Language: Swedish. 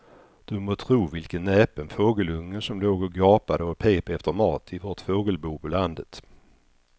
Du må tro vilken näpen fågelunge som låg och gapade och pep efter mat i vårt fågelbo på landet.